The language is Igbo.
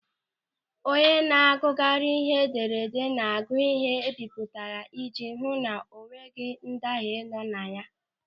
Onye na-agụgharị ihe edere ede na-agụ ịhe e bipụtara ijji ihu na o nweghị ndahie nọ na ya.